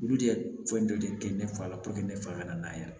Olu de ye fɛn dɔ de kɛ ne fa la ne fa ka na ya